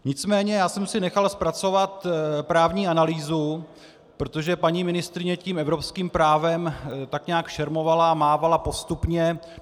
Nicméně já jsem si nechal zpracovat právní analýzu, protože paní ministryně tím evropským právem tak nějak šermovala a mávala postupně.